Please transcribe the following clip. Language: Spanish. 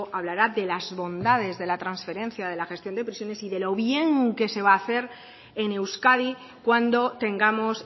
hablará de las bondades de la transferencia de la gestión de prisiones y de lo bien que se va a hacer en euskadi cuando tengamos